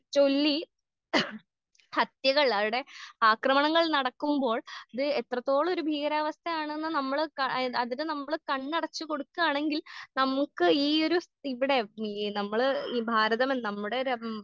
ചൊല്ലി ഹത്യകൾ അവിടെ ആക്രമണങ്ങൾ നടക്കുമ്പോൾ ഇത് എത്രത്തോളൊരു ഭീകരാവസ്ഥയാണെന്ന് നമ്മള് ക ഏ അതിന് നമ്മള് കണ്ണടച്ച് കൊടുക്കാണെങ്കിൽ നമുക്ക് ഈയൊരു ഇവിടെ ഈ നമ്മള് ഈ ഭാരതം നമ്മടെ .